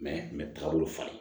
taabolo falen